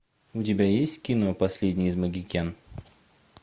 у тебя есть кино последний из магикян